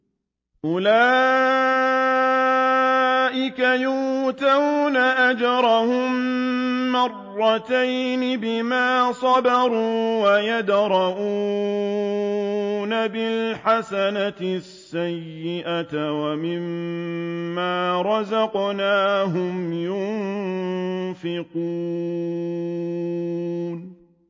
أُولَٰئِكَ يُؤْتَوْنَ أَجْرَهُم مَّرَّتَيْنِ بِمَا صَبَرُوا وَيَدْرَءُونَ بِالْحَسَنَةِ السَّيِّئَةَ وَمِمَّا رَزَقْنَاهُمْ يُنفِقُونَ